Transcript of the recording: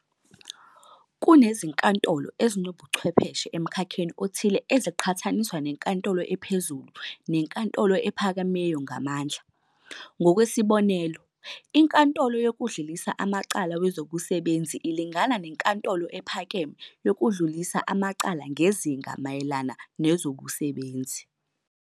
Kunezinkatolo ezinobuchwepheshe emkhakheni othile eziqhathaniswa neNkantolo ePhezulu neNkantolo ePhakemeyo ngamandla, ngokwesibonelo iNkantolo yokuDlulisa Amacala wezobuSebenzi ilingana neNkantolo ePhakeme yokuDlulisa Amacala ngezinga mayelana ezobusebenzi.